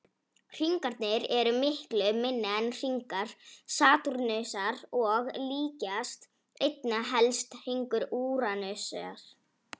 Hringarnir eru miklu minni en hringar Satúrnusar og líkjast einna helst hringum Úranusar.